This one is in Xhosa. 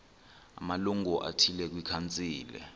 amalungu athile kwikhansile